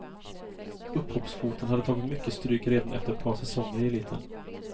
Upphoppsfoten hade tagit mycket stryk redan efter ett par säsonger i eliten.